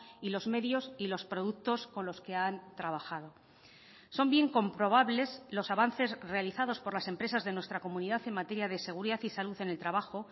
y los medios y los productos con los que han trabajado son bien comprobables los avances realizados por las empresas de nuestra comunidad en materia de seguridad y salud en el trabajo